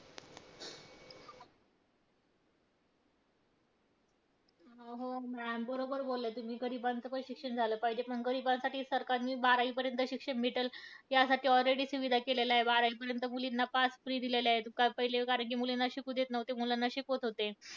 हो ma'am बरोबर बोलल्या तुम्ही. गरिबांचं पण शिक्षण झालं पाहिजे. पण गरिबांसाठी सरकारने बारावीपर्यंत शिक्षण भेटल यासाठी already सुविधा केलेल्या आहेत. बारावीपर्यंत मुलींना pass free दिलेलं आहे. पहिले कारण की मुलींना शिकू देत नव्हते, मुलांना शिकवत होते.